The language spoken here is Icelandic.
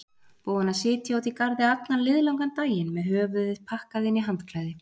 Búin að sitja úti í garði allan liðlangan daginn með höfuðið pakkað inn í handklæði.